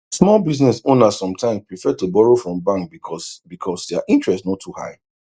small business owners sometimes prefer to borrow from bank because because their interest no too high